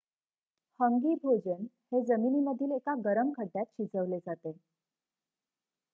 हंगी भोजन हे जमिनीमधील एका गरम खड्ड्यात शिजवले जाते